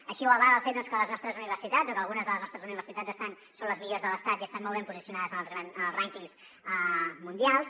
així ho avala el fet doncs que les nostres universitats o que algunes de les nostres universitats són les millors de l’estat i estan molt ben posicionades en els rànquings mundials